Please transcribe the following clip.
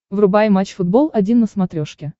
врубай матч футбол один на смотрешке